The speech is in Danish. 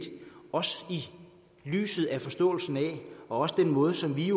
lyset af forståelsen og den måde som vi